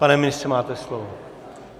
Pane ministře, máte slovo.